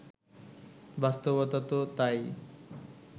বাস্তবতা তো তা-ই